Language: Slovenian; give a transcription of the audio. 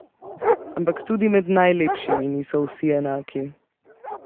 Ampak tudi med najlepšimi niso vsi enaki.